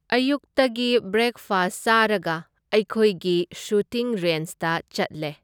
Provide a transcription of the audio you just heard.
ꯑꯌꯨꯛꯇꯒꯤ ꯕ꯭ꯔꯦꯛꯐꯁ ꯆꯥꯔꯒ ꯑꯩꯈꯣꯏꯒꯤ ꯁꯨꯇꯤꯡ ꯔꯦꯟꯁꯇ ꯆꯠꯂꯦ꯫